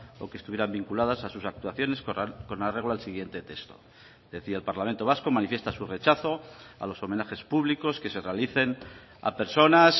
o que estuvieran vinculadas a sus actuaciones con arreglo al siguiente texto decía el parlamento vasco manifiesta su rechazo a los homenajes públicos que se realicen a personas